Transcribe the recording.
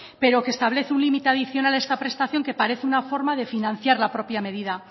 pero que establece un límite adicional a esta prestación que parece una forma de financiar la propia medida